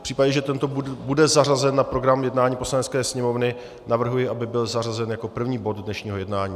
V případě, že tento bude zařazen na program jednání Poslanecké sněmovny, navrhuji, aby byl zařazen jako první bod dnešního jednání.